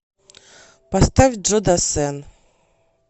поставь джо дассен